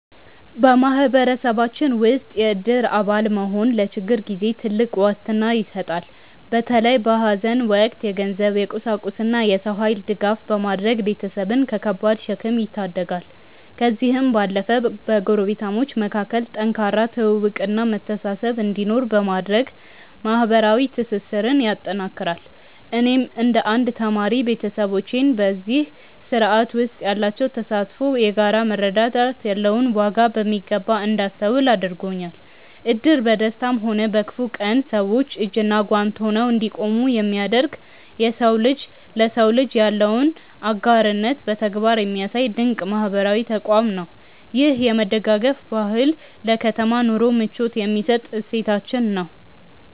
በማህበረሰባችን ውስጥ የእድር አባል መሆን ለችግር ጊዜ ትልቅ ዋስትና ይሰጣል። በተለይ በሐዘን ወቅት የገንዘብ፣ የቁሳቁስና የሰው ኃይል ድጋፍ በማድረግ ቤተሰብን ከከባድ ሸክም ይታደጋል። ከዚህም ባለፈ በጎረቤታሞች መካከል ጠንካራ ትውውቅና መተሳሰብ እንዲኖር በማድረግ ማህበራዊ ትስስርን ያጠናክራል። እኔም እንደ አንድ ተማሪ፣ ቤተሰቦቼ በዚህ ስርዓት ውስጥ ያላቸው ተሳትፎ የጋራ መረዳዳት ያለውን ዋጋ በሚገባ እንዳስተውል አድርጎኛል። እድር በደስታም ሆነ በክፉ ቀን ሰዎች እጅና ጓንት ሆነው እንዲቆሙ የሚያደርግ፣ የሰው ልጅ ለሰው ልጅ ያለውን አጋርነት በተግባር የሚያሳይ ድንቅ ማህበራዊ ተቋም ነው። ይህ የመደጋገፍ ባህል ለከተማ ኑሮ ምቾት የሚሰጥ እሴታችን ነው።